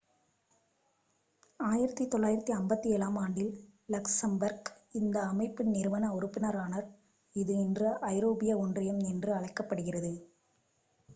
1957-ஆம் ஆண்டில் லக்சம்பர்க் இந்த அமைப்பின் நிறுவன உறுப்பினரானார் இது இன்று ஐரோப்பிய ஒன்றியம் என்று அழைக்கப்படுகிறது